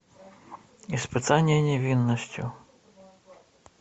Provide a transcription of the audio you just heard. испытание невинностью